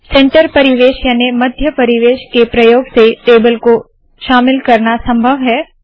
centre परिवेश याने मध्य परिवेश के प्रयोग से टेबल को शामिल करना संभव है